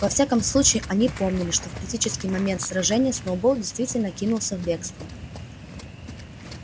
во всяком случае они помнили что в критический момент сражения сноуболл действительно кинулся в бегство